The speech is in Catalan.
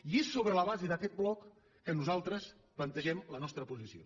i és sobre la base d’aquest bloc que nosaltres plantegem la nostra posició